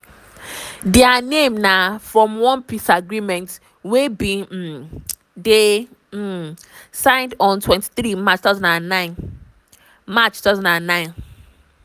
dia name na from one peace agreement wey bin um dey um signed on 23 march 2009. march 2009.